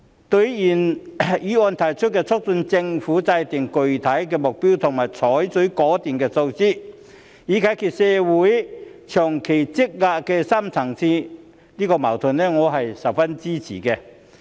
對於原議案提出促請政府制訂具體目標及採取果斷措施，以解決香港社會長期積累的深層次矛盾，我是十分支持的。